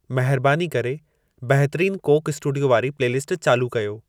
महिरबानी करे बहितरीन कोक स्टूडियो वारी प्लेलिस्ट चालू कयो